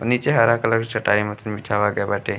नीचे हरा कलर के चटाई मतीन बिछाव गए बाटे।